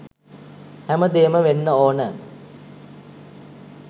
හැමදේම වෙන්න ඕන.